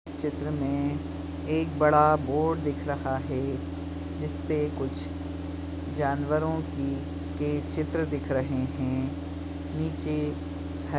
चित्र में एक बड़ा बोर्ड दिख रहा है जिसपे कुछ जानवरों की के चित्र दिख रहे है नीचे ह --